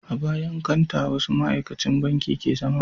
A bayan kanta wasu ma'aikacin banki ke zama